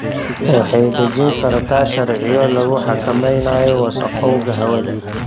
Waxay dejin kartaa sharciyo lagu xakameynayo wasakhowga hawada.